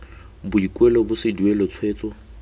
boikuelo bo se duelwe tshwetso